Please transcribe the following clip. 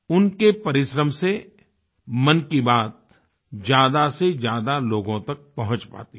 उनके परिश्रम से मन की बात ज़्यादा से ज़्यादा लोगों तक पहुँच पाती है